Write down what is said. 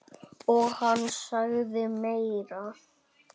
Og hann sagði meira.